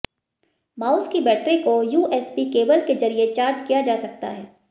mouse की battery को USB cable के जरिए चार्ज किया जा सकता है